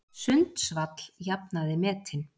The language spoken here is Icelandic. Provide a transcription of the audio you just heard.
Sundsvall jafnaði metin